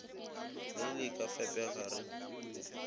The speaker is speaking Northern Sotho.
le le ka fepega re